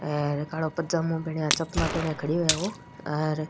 अर कालो पजामो पहना चपला पहना खड़ो है ओ एर --